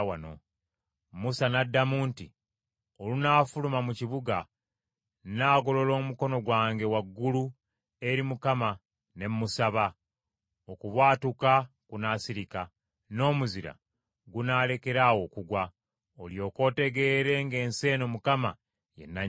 Musa n’addamu nti, “Olunaafuluma mu kibuga, nnaagolola emikono gyange waggulu eri Mukama ne mmusaba. Okubwatuka kunaasirika, n’omuzira gunaalekera awo okugwa; olyoke otegeere ng’ensi eno Mukama ye nannyini yo.